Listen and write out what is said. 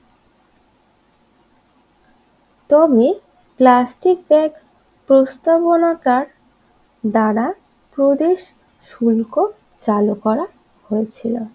তবে plastic bag প্রস্তাবনাকার দ্বারা প্রদেশ সুলকো চালু করা হয়েছিল